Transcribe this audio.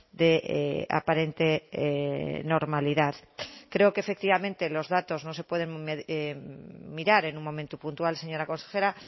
de aparente normalidad creo que efectivamente los datos no se pueden mirar en un momento puntual señora consejera